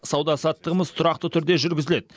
сауда саттығымыз тұрақты түрде жүргізіледі